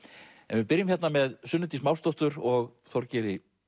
við byrjum með Sunnu Dís og Þorgeiri